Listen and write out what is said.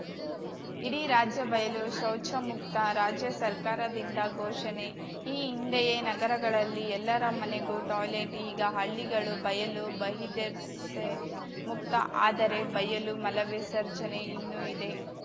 ಇಡೀ ರಾಜ್ಯ ಬಯಲು ಶೌಚಮುಕ್ತ ರಾಜ್ಯ ಸರ್ಕಾರದಿಂದ ಘೋಷಣೆ ಈ ಹಿಂದೆಯೇ ನಗರಗಳಲ್ಲಿ ಎಲ್ಲರ ಮನೆಗೂ ಟಾಯ್ಲೆಟ್‌ ಈಗ ಹಳ್ಳಿಗಳು ಬಯಲು ಬಹಿರ್ದೆಸೆ ಮುಕ್ತ ಆದರೆ ಬಯಲು ಮಲವಿಸರ್ಜನೆ ಇನ್ನೂ ಇದೆ